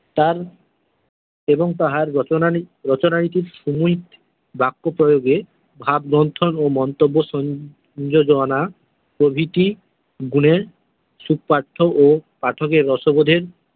তাঁর এবং তাঁহার রচনাই কি বাক্য প্রয়গে ভাব ও মন্তব্য সংযোজনা প্রভিতি গুনের সুপাঠ্য ও পাঠকের রসবোধের।